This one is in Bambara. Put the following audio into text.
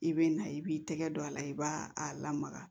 I bɛ na i b'i tɛgɛ don a la i b'a a lamaga